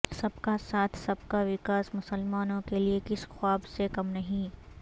سب کا ساتھ سب کا وکاس مسلمانوں کے لئے کسی خواب سے کم نہیں